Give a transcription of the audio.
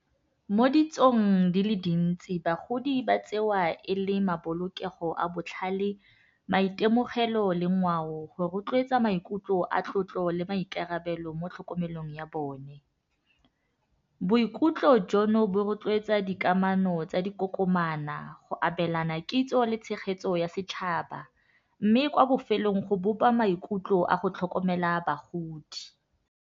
Mo ditsong di le dintsi bagodi ba tsewa e le mabolokego a botlhale, maitemogelo le ngwao go rotloetsa maikutlo a tlotlo le maikarabelo mo tlhokomelong ya bone. Boikutlo jono bo rotloetsa dikamano tsa dikokomana go abelana kitso le tshegetso ya setšhaba mme kwa bofelong go bopa maikutlo a go tlhokomela bagodi.